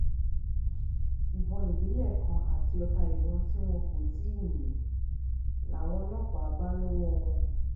ìbọn ìléwọ́ ìbílẹ̀ kan àti ọta ìbọn tí wọn kò um tì í yín làwọn ọlọ́pàá um bá lọ́wọ́ wọn